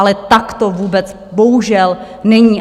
Ale tak to vůbec bohužel není.